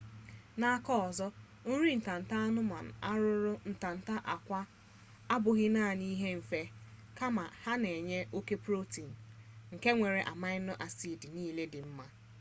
n’aka ọzọ nri anụmanụ arụrụ ntanta akwa abughi naani di nfe kama ha na-enye oke protein nke nwere amino acid nile di nma